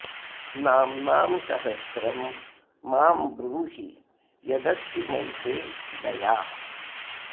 नाम्नां सहस्रं मां ब्रूहि यदस्ति मयि ते दया